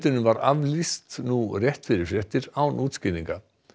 honum var aflýst nú rétt fyrir fréttir án útskýringa